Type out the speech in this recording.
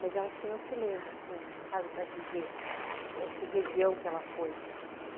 Mas ela diz que não se lembra, assim, sabe, para dizer eh que região que ela foi, uhum.